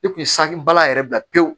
I kun ye sange bala yɛrɛ bila pewu